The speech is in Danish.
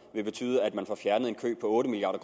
vil betyde at man får fjernet en kø på otte milliard